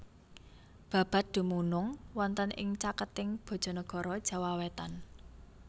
Babat dumunung wonten ing caketing Bojonegoro Jawa wetan